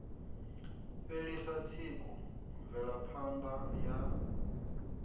fhelisa tsiku mvelapha ṋda ya